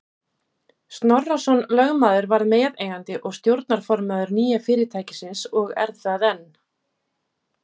Snorrason lögmaður varð meðeigandi og stjórnarformaður nýja fyrirtækisins og er það enn.